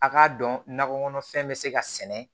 A k'a dɔn nakɔ kɔnɔfɛn bɛ se ka sɛnɛ